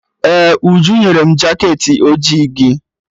Ee, Uju nyere m jaket ojii gị.